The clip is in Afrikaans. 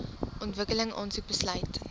ontwikkeling aansoek besluit